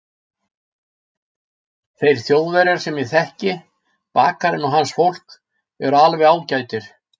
Þeir Þjóðverjar sem ég þekki, bakarinn og hans fólk, eru alveg ágætir.